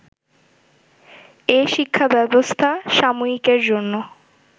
এ শিক্ষাব্যবস্থা সাময়িকের জন্য